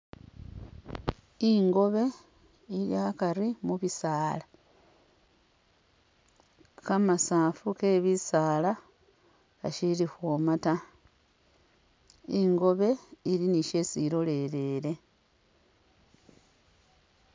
Ingobe ili akari mu'bisaala, kamasaafu ke bisaala kashili khwooma taa, ingobe ili ni shesi ilolelele